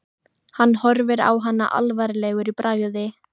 Hann horfir á hana alvarlegur í bragði.